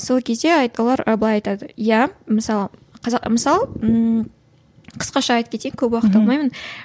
сол кезде олар былай айтады ия мысалы мысалы ммм қысқаша айтып кетейін көп уақыт алмаймын